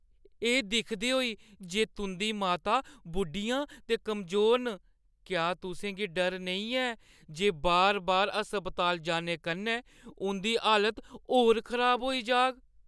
एह् दिखदे होई जे तुंʼदी माता बुड्ढियां ते कमजोर न, क्या तुसें गी डर नेईं ऐ जे बार-बार अस्पताल जाने कन्नै उंʼदी हालत होर खराब होई जाह्‌ग?